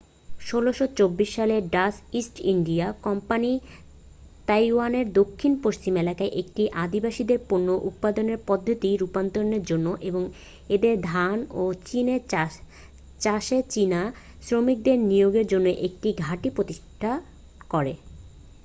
1624 সালে Dutch East India Company তাইওয়ানের দক্ষিণ পশ্চিম এলাকায় একটি আদিবাসীদের পণ্য উৎপাদনের পদ্ধতির রুপান্তরের জন্য এবং এদের ধান ও চিনি চাষে চীনা শ্রমিকদের নিয়োগের জন্য একটি ঘাঁটি প্রতিষ্ঠা করে